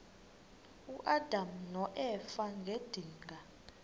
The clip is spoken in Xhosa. uadam noeva ngedinga